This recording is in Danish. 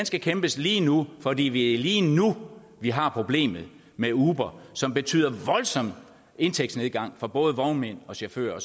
skal kæmpes lige nu for det er lige lige nu vi har problemet med uber som betyder voldsom indtægsnedgang for både vognmænd og chauffører